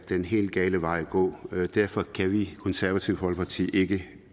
den helt gale vej at gå og derfor kan vi i det konservative folkeparti ikke